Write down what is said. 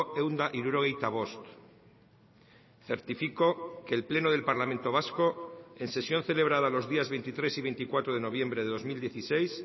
ehun eta hirurogeita bost certifico que el pleno del parlamento vasco en sesión celebrada los días veintitrés y veinticuatro de noviembre de dos mil dieciséis